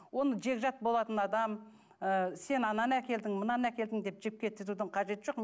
оны жекжат болатын адам ы сен ананы әкелдің мынаны әкелдің деп жіпке тізудің қажеті жоқ